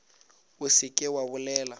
o se ke wa bolela